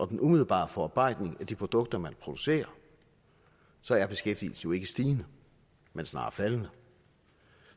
den umiddelbare forarbejdning af de produkter man producerer så er beskæftigelsen jo ikke stigende men snarere faldende